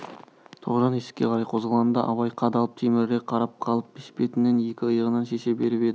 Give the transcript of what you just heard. тоғжан есікке қарай қозғалғанда абай қадалып телміре қарап қалып бешпентін екі иығынан шеше беріп еді